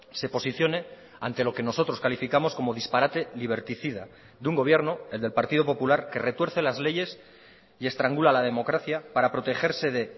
se posicione ante lo que nosotros calificamos como disparate liberticida de un gobierno el del partido popular que retuerce las leyes y estrangula la democracia para protegerse de